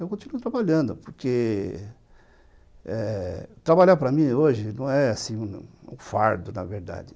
Eu continuo trabalhando, porque eh trabalhar para mim hoje não é um fardo, na verdade.